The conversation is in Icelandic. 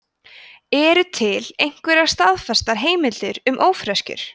eru til einhverjar staðfestar heimildir um ófreskjur